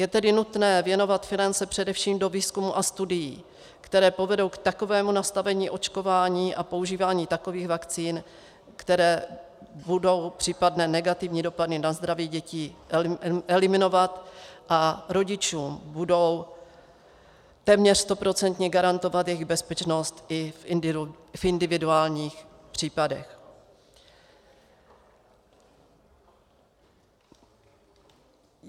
Je tedy nutné věnovat finance především do výzkumu a studií, které povedou k takovému nastavení očkování a používání takových vakcín, které budou případné negativní dopady na zdraví dětí eliminovat a rodičům budou téměř stoprocentně garantovat jejich bezpečnost i v individuálních případech.